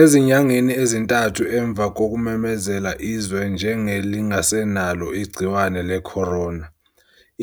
Ezinyangeni ezintathu emva kokumemezela izwe njenge lingasenalo igciwane lecorona,